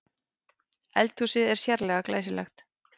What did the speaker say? Eldhúsið er sérlega glæsilegt